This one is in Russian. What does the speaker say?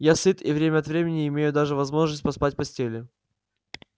я сыт и время от времени имею даже возможность поспать в постели